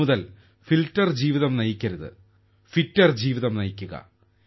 ഇന്നു മുതൽ ഫിൽട്ടർ ജീവിതം നയിക്കരുത് ഫിറ്റർ ജീവിതം നയിക്കുക